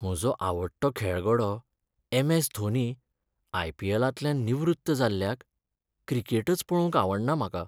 म्हजो आवडटो खेळगडो ऍम. ऍस. धोनी आयपीएलांतल्यान निवृत्त जाल्ल्याक क्रिकेटच पळोवंक आवडना म्हाका.